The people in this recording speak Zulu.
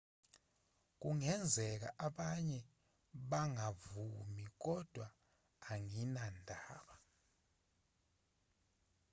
kungenzeka abanye bangavumi kodwa anginandaba